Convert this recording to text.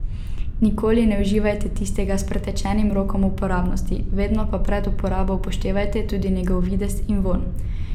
Nikoli ne uživajte tistega s pretečenim rokom uporabnosti, vedno pa pred uporabo upoštevajte tudi njegov videz in vonj.